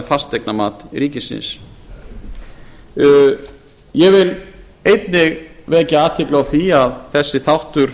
fasteignamat ríkisins ég vil einnig vekja athygli á því að þessi þáttur